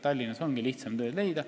Tallinnas on ju lihtsam tööd leida.